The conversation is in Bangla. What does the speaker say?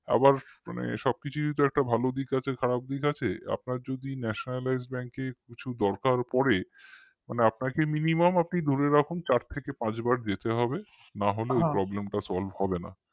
আবার সবকিছুই তো একটা ভালো দিক আছে খারাপ দিক আছে আপনার যদি nationalized bank এ কিছু দরকার পড়ে মানে আপনাকে minimum আপনি ধরে রাখুন চার থেকে পাঁচবার যেতে হবে না হলে ওই problem টা solve হবে না